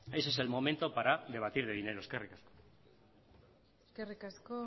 ese es el momento para debatir de dinero eskerrik asko eskerrik asko